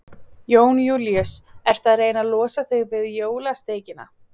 Jón Júlíus: Ertu að reyna að losa þig við jólasteikina?